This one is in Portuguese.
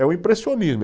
É o impressionismo.